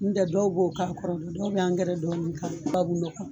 N'u tɛ dɔw b'o k'a kɔrɔ, dɔw bɛ angɛrɛ dɔɔnin k'a la, tubabunɔgɔ